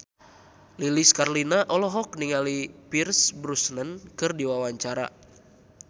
Lilis Karlina olohok ningali Pierce Brosnan keur diwawancara